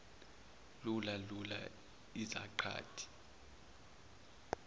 luma luma izaqathi